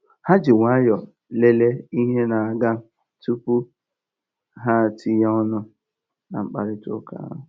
Ha ji nwayọọ lele ihe na-aga tupu ha tinye ọnụ na mkparitauka ahụ.